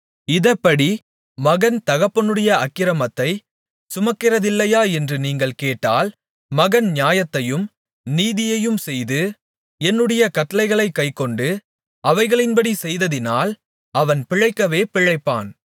இதெப்படி மகன் தகப்பனுடைய அக்கிரமத்தைச் சுமக்கிறதில்லையா என்று நீங்கள் கேட்டால் மகன் நியாயத்தையும் நீதியையும் செய்து என்னுடைய கட்டளைகளைக் கைக்கொண்டு அவைகளின்படி செய்ததினால் அவன் பிழைக்கவே பிழைப்பான்